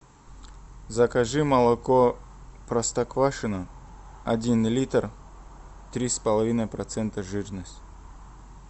закажи молоко простоквашино один литр три с половиной процента жирность